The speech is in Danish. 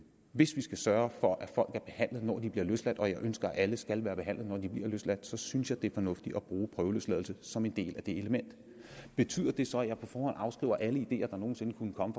vi skal sørge for at folk er behandlet når de bliver løsladt og jeg ønsker at alle skal være behandlet når de bliver løsladt så synes jeg det er fornuftigt at bruge prøveløsladelse som en del af det element betyder det så at jeg på forhånd afskriver alle ideer der nogen sinde kunne komme